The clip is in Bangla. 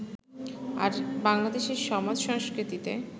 আর বাংলাদেশের সমাজ-সংস্কৃতিতে